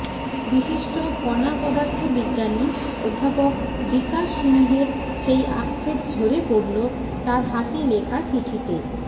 বিশিষ্ট কণাপদার্থ বিজ্ঞানী অধ্যাপক বিকাশ সিংহের সেই আক্ষেপ ঝরে পড়ল তাঁর হাতে লেখা চিঠিতে